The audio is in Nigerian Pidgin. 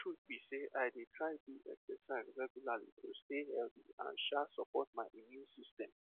the truth be sey i dey try do exercise regularly to stay healthy and um support my immune system